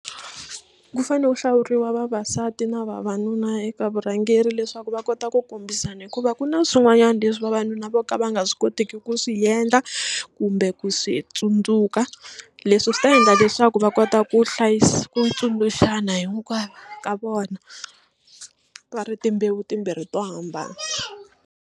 Ku fanele ku hlawuriwa vavasati na vavanuna eka vurhangeri leswaku va kota ku kombisana hikuva ku na swin'wanyana leswi vavanuna vo ka va nga swi koteki ku swi endla kumbe ku swi tsundzuka leswi swi ta endla leswaku va kota ku hlayisa ku tsundzuxana hinkwavo ka vona va ri timbewu timbirhi to hambana.